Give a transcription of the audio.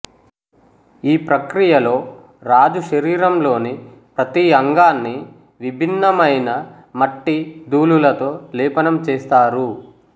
ఈ ప్రక్రియలో రాజుశరీరంలోని ప్రతి అంగాన్ని విభిన్నమైన మట్టి ధూళులతో లేపనం చేస్తారు